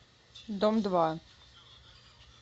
дом два